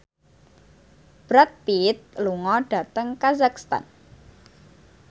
Brad Pitt lunga dhateng kazakhstan